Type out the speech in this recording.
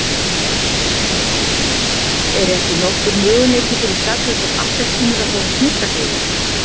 Er ekki nokkur möguleiki fyrir saklausar appelsínur að fá að snyrta sig örlítið.